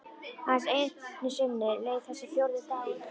Aðeins einu sinni leið þessi fjórði dagur.